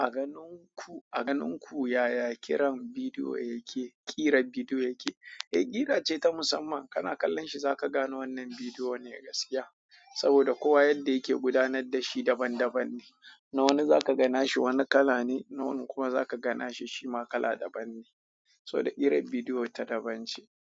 A ganin ku, a ganin ku yaya kiran bidiyo yake, ƙira bidiyo yake? Eh, ƙira ce ta musamman. Kana kallon shi zaka gane wannan bidiyo ne gaskiya. Saboda kowa yadda yake gudanar da shi daban daban ne. Na wani zaka ga na shi wani kala ne, na wani kuma zaka ga na shi shima kala daban ne. To ƙirar bidiyo tana bayan shi.